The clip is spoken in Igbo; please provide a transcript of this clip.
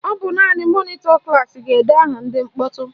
Ọ bụ naanị mọnịtọ klaasị ga-ede aha ndị mkpọtụ